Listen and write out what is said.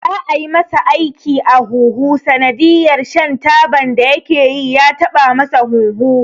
Za'a yi masa aiki a huhu sanadiyar shan taban da yakeyi ya taba masa hunhu.